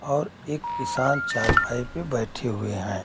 और एक किसान चारपाई पे बैठे हुए हैं।